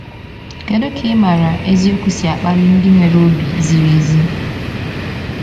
Kedu ka ịmara eziokwu si akpali ndị nwere obi ziri ezi?